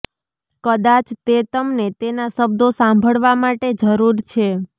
કદાચ તે તમને તેના શબ્દો સાંભળવા માટે જરૂર છે